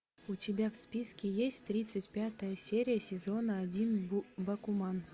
у тебя в списке есть тридцать пятая серия сезона один бакуман